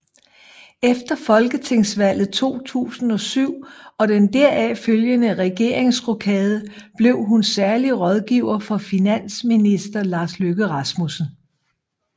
Efter folketingsvalget 2007 og den deraf følgende regeringsrokade blev hun særlig rådgiver for finansminister Lars Løkke Rasmussen